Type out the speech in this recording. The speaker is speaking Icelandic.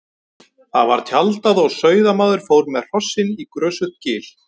Þar var tjaldað og sauðamaður fór með hrossin í grösugt gil.